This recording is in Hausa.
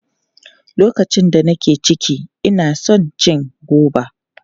Lokacin da nake ciki, ina son cin goba.